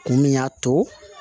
Mun y'a to